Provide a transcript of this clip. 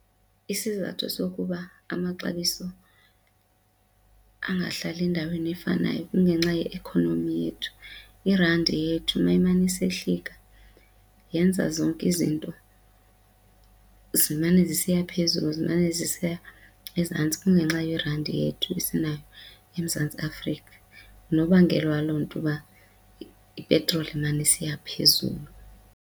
Isizathu sokuba amaxabiso angahlali endaweni efanayo kungenxa ye-economy yethu. Irandi yethu uma imane isehlika yenza zonke izinto zimane zisiya phezulu zimane zisiya ezantsi kungenxa yerandi yethu esinayo eMzantsi Afrika. Ngunobangela waloo nto uba ipetroli imane isiya phezulu.